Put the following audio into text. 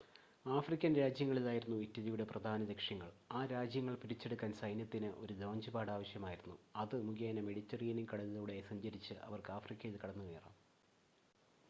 African രാജ്യങ്ങളായിരുന്നു ഇറ്റലിയുടെ പ്രധാന ലക്ഷ്യങ്ങൾ.ആ രാജ്യങ്ങൾ പിടിച്ചെടുക്കാൻ സൈന്യത്തിന് ഒരു ലോഞ്ച് പാഡ് ആവശ്യമായിരുന്നു അത് മുഖേന മെഡിറ്ററേനിയൻ കടലിലൂടെ സഞ്ചരിച്ച് അവർക്ക് ആഫ്രിക്കയിൽ കടന്നുകയറാം